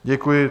Děkuji.